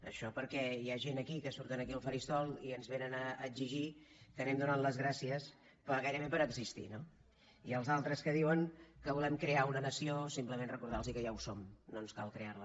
això perquè hi ha gent aquí que surt aquí al faristol i ens vénen a exigir que anem donant les gràcies gairebé per existir no i als altres que diuen que volem crear una nació simplement recordar los que ja ho som no ens cal crear la